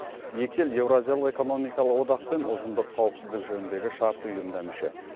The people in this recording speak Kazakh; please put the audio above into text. екі ел еуразиялық экономикалық одақ пен ұжымдық қауіпсіздік жөніндегі шарт ұйымына мүше